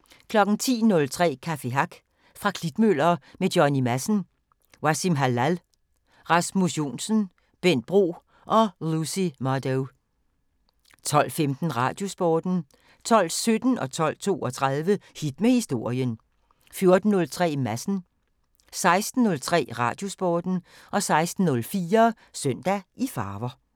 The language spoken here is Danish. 10:03: Café Hack fra Klitmøller med Johnny Madsen, Wassim Hallal, Rasmus Johnsen, Bent Bro og Lucy Mardou 12:15: Radiosporten 12:17: Hit med Historien 12:32: Hit med Historien 14:03: Madsen 16:03: Radiosporten 16:04: Søndag i farver